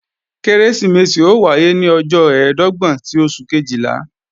Kérésìmesì ó wáyé ní ọjọ́ ẹ̀ẹ́dọ́gbọ̀n ti oṣù Kejìlá